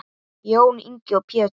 Jón Ingi og Pétur.